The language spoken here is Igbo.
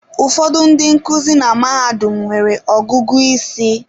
Ụfọdụ ndị nkuzi na mahadum nwere ọgụgụ isi.